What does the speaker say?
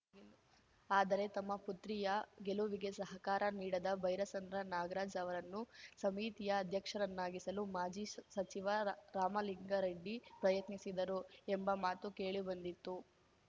ಆದರೆ ತಮ್ಮ ಪುತ್ರಿಯ ಗೆಲುವಿಗೆ ಸಹಕಾರ ನೀಡಿದ ಬೈರಸಂದ್ರ ನಾಗರಾಜ್‌ ಅವರನ್ನು ಸಮಿತಿಯ ಅಧ್ಯಕ್ಷರನ್ನಾಗಿಸಲು ಮಾಜಿ ಸ್ ಸಚಿವ ರಾಮಲಿಂಗಾರೆಡ್ಡಿ ಪ್ರಯತ್ನಿಸಿದ್ದರು ಎಂಬ ಮಾತು ಕೇಳಿ ಬಂದಿತ್ತು